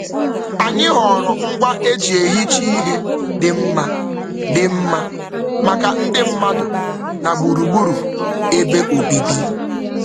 Anyị họọrọ ngwa e ji ehicha ihe dị mma dị mma maka ndị mmadụ na gburugburu ebe obibi.